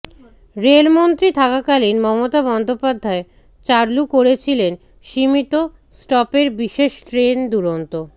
রেলমন্ত্রী থাকাকালীন মমতা বন্দ্যোপাধ্যায় চালু করেছিলেন সীমিত স্টপের বিশেষ ট্রেন দুরন্ত